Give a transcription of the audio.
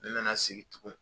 N nana sigi tugun